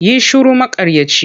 Yi shiru maƙaryaci!